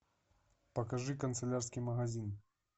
покажи канцелярский магазин